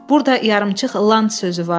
Burda yarımçıq “Lan” sözü vardı.